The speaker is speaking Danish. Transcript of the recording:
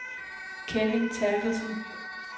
Kevin Therkelsen